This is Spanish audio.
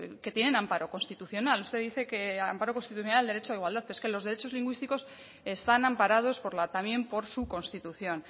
que tienen amparo constitucional usted dice que amparo constitucional el derecho de igualdad pero es que los derechos lingüísticos están amparados por la también por su constitución